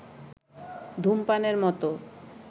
ধূমপানের মত